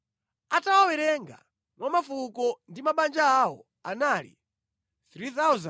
atawawerenga mwa mafuko ndi mabanja awo, anali 3,200.